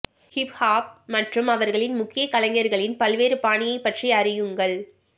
hip hop மற்றும் அவர்களின் முக்கிய கலைஞர்களின் பல்வேறு பாணியைப் பற்றி அறியுங்கள்